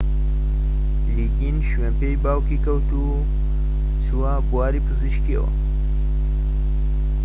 لیگین شوێن پێی باوکی کەوت و چووە بواری پزیشکییەوە